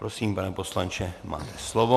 Prosím, pane poslanče, máte slovo.